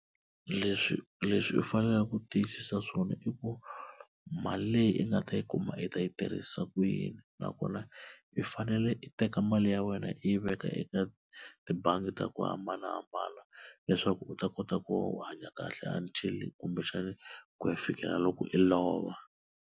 Leswi leswi u faneleke ku tiyisisa swona i ku mali leyi i nga ta yi kuma i ta yi tirhisa ku yini na kona i fanele i teka mali ya wena i yi veka eka tibangi ta ku hambanahambana leswaku u ta kota ku u hanya kahle until kumbexani ku ya fikela loko i lova.